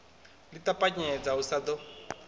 ḽi ṱapanyedza u sa ḓo